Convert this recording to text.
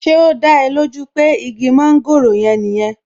Ṣé ó dá ẹ lójú pé igi mọ́ńgòrò yẹn nìyẹn